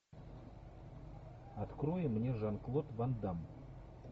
открой мне жан клод ван дамм